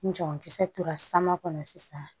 Ni jagokisɛ tora sama kɔnɔ sisan